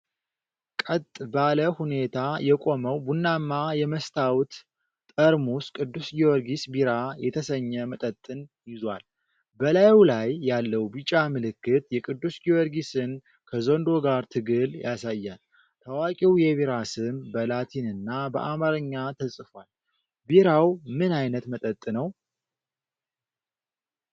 ቀጥ ባለ ሁኔታ የቆመው ቡናማ የመስታወት ጠርሙስ ቅዱስ ጊዮርጊስ ቢራ የተሰኘ መጠጥን ይዟል። በላዩ ላይ ያለው ቢጫ ምልክት የቅዱስ ጊዮርጊስን ከዘንዶ ጋር ትግል ያሳያል፤ ታዋቂው የቢራ ስም በላቲንና በአማርኛ ተጽፏል፤ ቢራው ምን ዓይነት መጠጥ ነው?